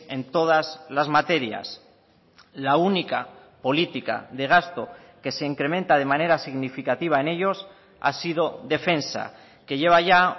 en todas las materias la única política de gasto que se incrementa de manera significativa en ellos ha sido defensa que lleva ya